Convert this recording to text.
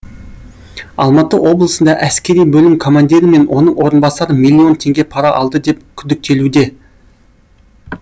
алматы облысында әскери бөлім командирі мен оның орынбасары миллион теңге пара алды деп күдіктелуде